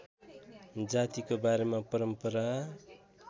जातिको बारेमा परम्परा